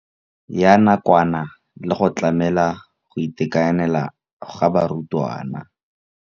Ya nakwana le go tlamela go itekanela ga barutwana.